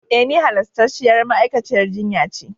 E, ni halastarciyar ma'aikaciyar jinya ce.